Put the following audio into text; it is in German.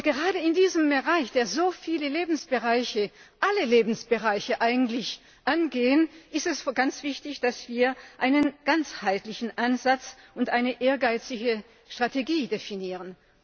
Gerade in diesem Bereich, der so viele Lebensbereiche alle Lebensbereiche eigentlich angeht, ist es ganz wichtig, dass wir einen ganzheitlichen Ansatz und eine ehrgeizige Strategie definieren.